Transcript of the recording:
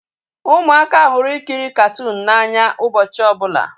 Ụmụaka hụrụ ikiri katuunu n'anya ụbọchị ọbụla